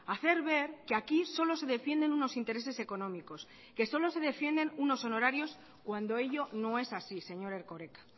hacer ver que aquí solo se defienden unos intereses económicos que solo se defienden unos honorarios cuando ello no es así señor erkoreka